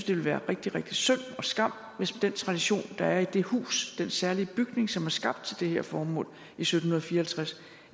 ville være rigtig rigtig synd og skam hvis den tradition der er i det hus den særlige bygning som er skabt til det her formål i sytten fire